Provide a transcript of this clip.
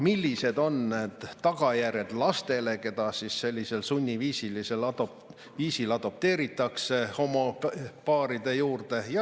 Millised on tagajärjed lastele, keda sunniviisiliselt adopteeritakse homopaaride juurde?